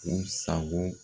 U sago